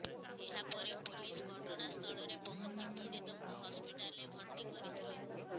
ଏହା ପରେ ପୋଲିସ୍ ଘଟଣାସ୍ଥଳରେ ପହଞ୍ଚି ପୀଡ଼ିତଙ୍କୁ ହସ୍ପିଟାଲରେ ଭର୍ତ୍ତି କରିଥିଲେ